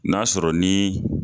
N'a sɔrɔ nin